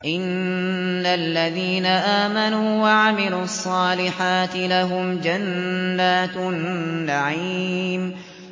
إِنَّ الَّذِينَ آمَنُوا وَعَمِلُوا الصَّالِحَاتِ لَهُمْ جَنَّاتُ النَّعِيمِ